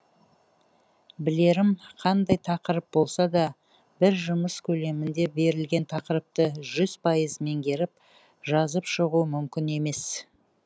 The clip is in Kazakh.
білерім қандай тақырып болса да бір жұмыс көлемінде берілген тақырыпты жүз пайыз меңгеріп жазып шығу мүмкін емес